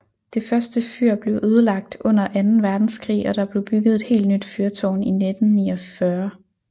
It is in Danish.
Det første fyr blev ødelagt under anden verdenskrig og der blev bygget et helt nyt fyrtårn i 1949